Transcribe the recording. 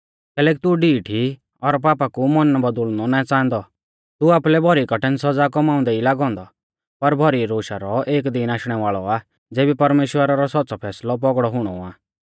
कैलैकि तू ढीठ ई और पापा कु मन बौदुल़नौ नाईं च़ांहादौ तू आपुलै भौरी कठिण सौज़ा कौमाउंदै ई लागौ औन्दौ पर भौरी रोशा रौ एक दीन आशणै वाल़ौ आ ज़ेबी परमेश्‍वरा रौ सौच़्च़ौ फैसलौ पौगड़ौ हुणौ आ